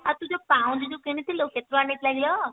ଆରେ ତୁ ଯାଉ ପାଉଁଜି ଯୋଉଠୁ କିଣି ଥିଲୁ କେତେ ଟଙ୍କା ନେଇ ଥିଲା କିଲୋ?